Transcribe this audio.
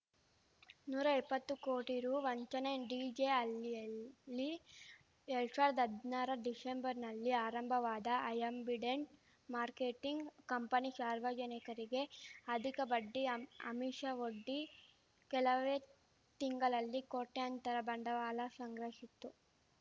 ನೂರಾ ಇಪ್ಪತ್ತು ಕೋಟಿ ರು ವಂಚನೆ ಡಿಜೆಹಳ್ಳಿಯಲ್ಲಿ ಎರಡ್ ಸಾವಿರ್ದಾ ಹದ್ನಾರ ರ ಡಿಶೆಂಬರ್‌ನಲ್ಲಿ ಆರಂಭವಾದ ಆ್ಯಂಬಿಡೆಂಟ್‌ ಮಾರ್ಕೆಟಿಂಗ್‌ ಕಂಪನಿ ಶಾರ್ವಜನಿಕರಿಗೆ ಅಧಿಕ ಬಡ್ಡಿ ಅಮ್ಆಮಿಷವೊಡ್ಡಿ ಕೆಲವೇ ತಿಂಗಳಲ್ಲಿ ಕೋಟ್ಯಂತರ ಬಂಡವಾಳ ಸಂಗ್ರಹಿಸಿತ್ತು